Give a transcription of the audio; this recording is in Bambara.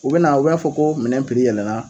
U bɛna u b'a fɔ ko minɛn yɛlɛla